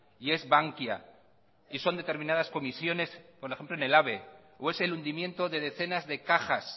y es bankia y son determinadas comisiones por ejemplo en el ave o es el hundimiento de decenas de cajas